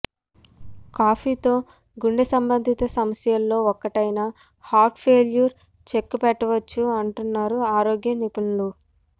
కాఫీతో గుండె సంబందిత సమస్యలలో ఒకటైన హార్ట్ ఫైల్యూర్ చెక్ పెట్టవచ్చు అంటున్నారు ఆరోగ్య నిపుణులు